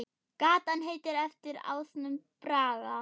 Gatan heitir eftir ásnum Braga.